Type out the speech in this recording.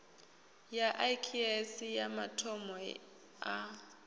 ya iks aya mathomo a